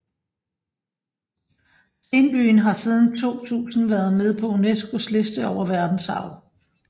Stenbyen har siden 2000 været med på UNESCOs liste over verdensarv